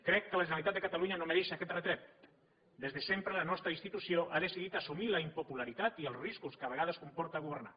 crec que la generalitat de catalunya no mereix aquest retret des de sempre la nostra institució ha decidit assumir la impopularitat i els riscos que a vegades comporta governar